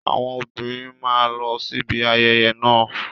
Àwọn obìnrin máa lọ síbi ayẹyẹ náà.